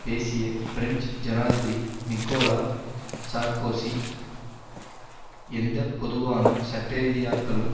பேசிய பிரெஞ்சு ஜனாதிபதி Nicolas Sarkozy எந்த பொதுவான சட்டரீதியாக்கலும்